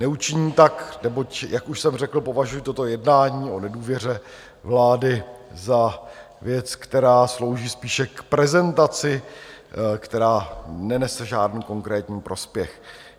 Neučiním tak, neboť jak už jsem řekl, považuji toto jednání o nedůvěře vlády za věc, která slouží spíše k prezentaci, která nenese žádný konkrétní prospěch.